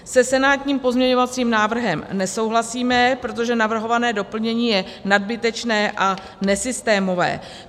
Se senátním pozměňovacím návrhem nesouhlasíme, protože navrhované doplnění je nadbytečné a nesystémové.